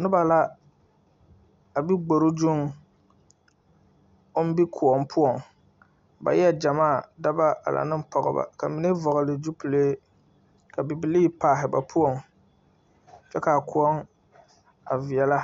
Noba la a be gbore zuŋ o be kõɔ poɔ ba e la gyamaa dɔɔbo ane Pɔgebo ka ba mine vɔgle zupele ka bibilee paalɛ ba poɔ kyɛ kaa kõɔ a viɛle